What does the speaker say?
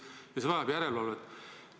" Ja see vajab järelevalvet.